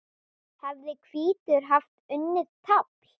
hefði hvítur haft unnið tafl.